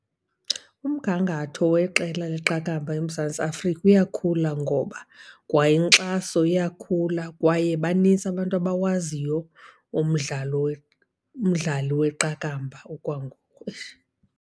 Umgangatho weqela leqakamba eMzantsi Afrika uyakhula ngoba kwa inkxaso iyakhula kwaye banintsi abantu abawaziyo umdlalo umdlali weqakamba okwangoku. Eish.